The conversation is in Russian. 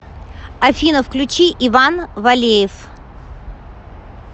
афина включи иван валеев